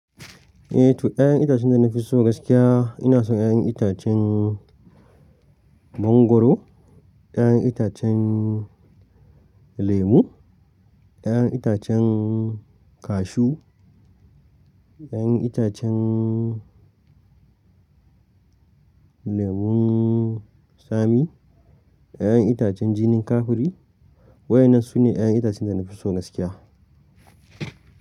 Eh to, 'ya'yan itacen da na fi so gaskiya ina son 'ya'yan itacen mangwaro, 'ya'yan itacen lemu, 'ya'yan itacen kashu, 'ya'yan itacen lemun tsami, 'ya'yan itacen jinin kafuri. Waɗannan su ne 'ya'yan itacen da na fi so gaskiya.